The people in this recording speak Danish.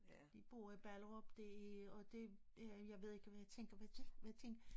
De bor i Ballerup det og det jeg ved ikke om jeg tænker hvad tænk